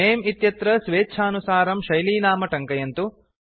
नमे इत्यत्र स्वेच्छानुसारं शैलीनाम टङ्कयन्तु